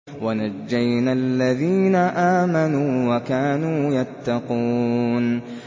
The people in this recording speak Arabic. وَنَجَّيْنَا الَّذِينَ آمَنُوا وَكَانُوا يَتَّقُونَ